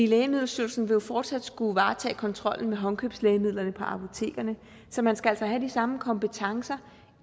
lægemiddelstyrelsen vil jo fortsat skulle varetage kontrollen med håndkøbslægemidler på apotekerne så man skal altså have de samme kompetencer